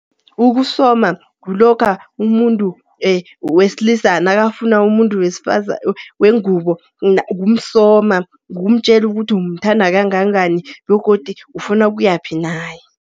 Ukusoma kulokha umuntu wesilisa nakafuna umuntu wengubo. Kumsoma, kumtjela ukuthi umthanda kangangani begodu ufuna ukuyaphi naye.